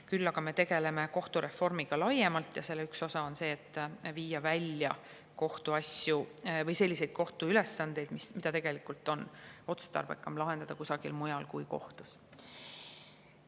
Küll aga me tegeleme kohtureformiga laiemalt ja selle üks osa on kohtust välja viia selliseid ülesandeid, mida tegelikult on otstarbekam lahendada kusagil mujal kui kohtus.